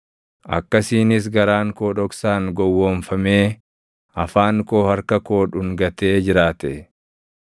akkasiinis garaan koo dhoksaan gowwoomfamee afaan koo harka koo dhungatee jiraate,